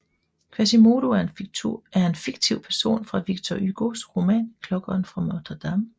Quasimodo er en fiktiv person fra Victor Hugos roman Klokkeren fra Notre Dame